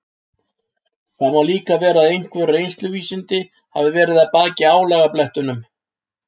Það má líka vera að einhver reynsluvísindi hafi verið að baki álagablettunum.